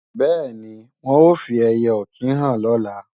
Bẹ́ẹ̀ni, wọn ó fi ẹiyẹ-ọ̀kín hàn lọ́la